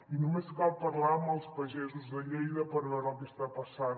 i només cal parlar amb els pagesos de lleida per veure el que està passant